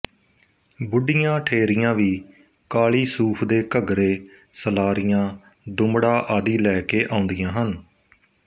ਬੁੱਢੀਆਂ ਠੇਰੀਆਂ ਵੀ ਕਾਲ਼ੀ ਸੂਫ਼ ਦੇ ਘੱਗਰੇ ਸਲਾਰੀਆਂ ਦੁਮੜਾ ਆਦਿ ਲੈ ਕੇ ਆਉਂਦੀਆਂ ਹਨ